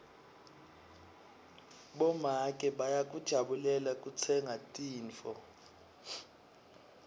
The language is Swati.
bomake bayakujabulela kutsenga tintfo